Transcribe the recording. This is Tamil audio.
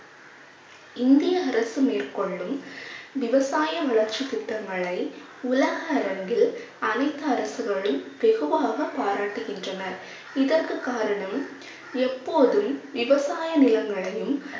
இந்திய அரசு மேற்கொள்ளும் விவசாய வளர்ச்சித் திட்டங்களை உலக அரங்கில் அனைத்து அரசர்களும் வெகுவாக பாராட்டுகின்றனர். இதற்கு காரணம் எப்போதும் விவசாய நிலங்களையும்